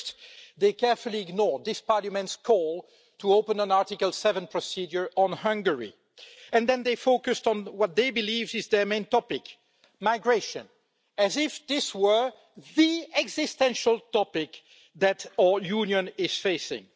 First, they carefully ignored this Parliament's call to open an Article 7 procedure on Hungary, and then they focused on what they believe is their main topic, migration, as if this were the existential topic that our union is facing.